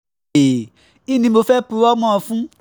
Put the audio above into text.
kín ni mo fẹ́ẹ́ purọ́ mọ́ ọn um fún